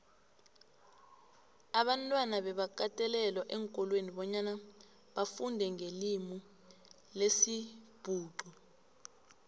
abantwana bebakatelelwa eenkolweni bonyana bafundenqelimilesibhuxu